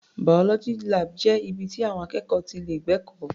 Biology lab jẹ́ ibi ti àwọn akẹ́kọ̀ọ́ ti lè gbẹ̀kọ́.